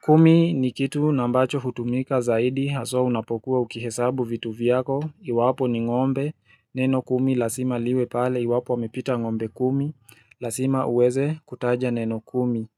kumi ni kitu na ambacho hutumika zaidi haswa unapokuwa uki hesabu vitu vyako, iwapo ni ng'ombe, neno kumi lazima liwe pale, iwapo wamepita ng'ombe kumi, lazima uweze kutaja neno kumi.